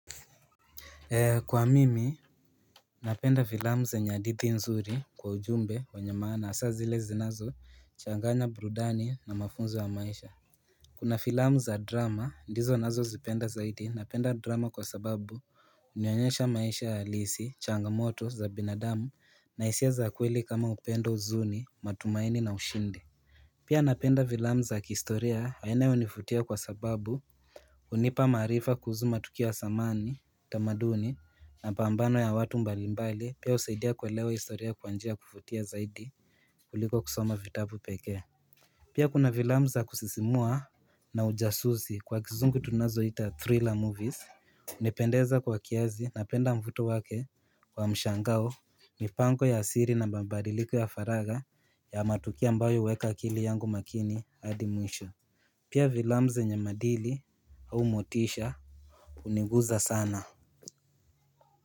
Kwa mimi napenda filamu zenye hadithi nzuri kwa ujumbe wenye maana hasa zilezinazo changanya burudani na mafunzo ya maisha Kuna filamu za drama ndizo nazozipenda zaidi napenda drama kwa sababu Hunionyesha maisha ya halisi changamoto za binadamu na hisia za kweli kama upendo huzuni matumaini na ushindi Pia napenda filamu za kihistoria yanayonifutia kwa sababu hunipa maarifa kuhusu matukio ya zamani, tamaduni mapambano ya watu mbalimbali pia husaidia kuelewa historia kwa njia kufutia zaidi kuliko kusoma vitabu peke. Pia kuna filamu za kusisimua na ujasuzi kwa kizungu tunazoita Thriller movies hunipendeza kwa kiazi na penda mvuto wake wa mshangao mipango ya asili na mambadiliko ya faragha ya matukio ambayo huweka akili yangu makini adi mwisho Pia filamu zenye maadili au motisha huniguza sana.